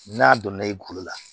N'a donna i kulo la